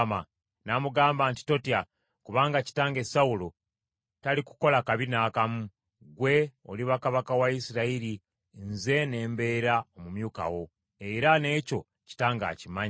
N’amugamba nti, “Totya, kubanga kitange Sawulo talikukola kabi n’akamu. Gwe oliba kabaka wa Isirayiri, nze ne mbeera omumyuka wo, era n’ekyo kitange akimanyi.”